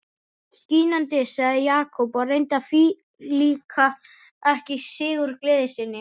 Skínandi sagði Jakob og reyndi að flíka ekki sigurgleði sinni.